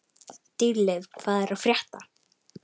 Dýrleif, hvað er að frétta?